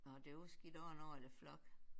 Nåh det var sgi da også en ordentlig flok